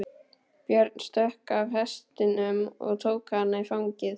Björn stökk af hestinum og tók hana í fangið.